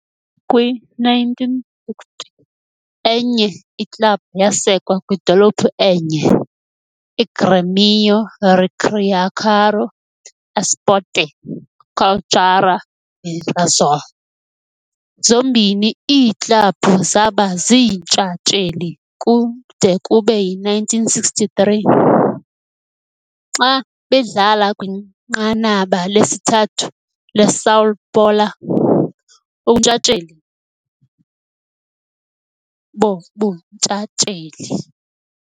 Kwi-1960, enye iklabhu yasekwa kwidolophu enye, iGrêmio Recreação Esporte Cultura Mirassol. Zombini iiklabhu zaba ziintshatsheli kude kube yi-1963, xa bedlala kwiNqanaba lesithathu leSão Paulo ubuNtshatsheli boBuntshatsheli.